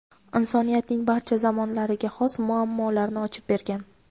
insoniyatning barcha zamonlariga xos muammolarni ochib bergan.